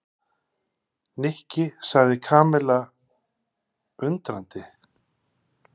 Nikki sagði Kamilla undrandi.